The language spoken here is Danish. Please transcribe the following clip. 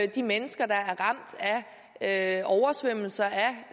de mennesker der er ramt af oversvømmelser og